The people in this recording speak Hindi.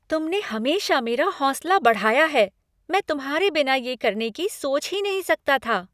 तुमने हमेशा मेरा हौंसला बढ़ाया है! मैं तुम्हारे बिना ये करने की सोच ही नहीं सकता था।